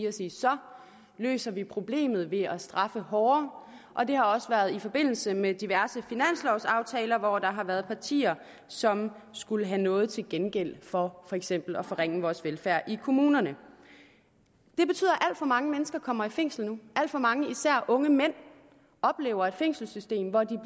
og sige så løser vi problemet ved at straffe hårdere og det har også været i forbindelse med diverse finanslovaftaler hvor der har været partier som skulle have noget til gengæld for for eksempel at forringe vores velfærd i kommunerne det betyder at alt for mange mennesker kommer i fængsel nu alt for mange især unge mænd oplever et fængselssystem hvor de